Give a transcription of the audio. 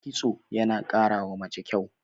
kitso yana karawa mace kyau